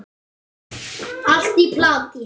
Allt í plati!